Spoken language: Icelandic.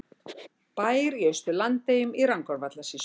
Bær í Austur-Landeyjum í Rangárvallasýslu.